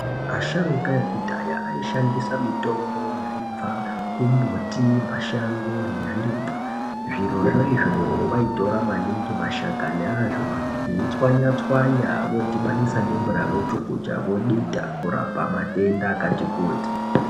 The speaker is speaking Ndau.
Asharukwa yekudhaya aishandisa mitombo yaibva kumumbiti mashango nezvirimwa zviro zvo izvozvo vaitora maningi mashakani azvo veitywanya tywanya vodubanisa nemvura vochukucha vodita kurapa matenda akati kutii.